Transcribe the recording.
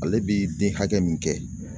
Ale bi den hakɛ min kɛ